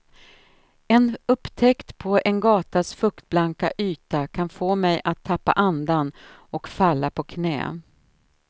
En upptäckt på en gatas fuktblanka yta kan få mig att tappa andan och falla på knä.